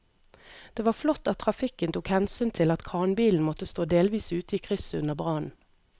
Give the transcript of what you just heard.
Det var flott at trafikken tok hensyn til at kranbilen måtte stå delvis ute i krysset under brannen.